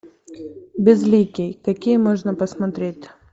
безликий какие можно посмотреть